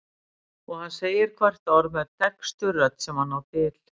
Og hann segir hvert orð með dekkstu rödd sem hann á til.